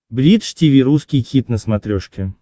бридж тиви русский хит на смотрешке